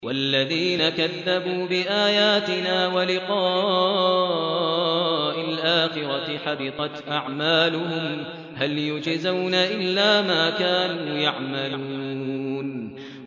وَالَّذِينَ كَذَّبُوا بِآيَاتِنَا وَلِقَاءِ الْآخِرَةِ حَبِطَتْ أَعْمَالُهُمْ ۚ هَلْ يُجْزَوْنَ إِلَّا مَا كَانُوا يَعْمَلُونَ